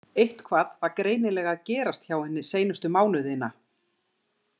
Eitthvað var greinilega að gerast hjá henni seinustu mánuðina.